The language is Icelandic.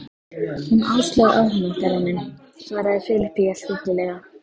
Hún Áslaug á hana, Garðar minn, svaraði Filippía stillilega.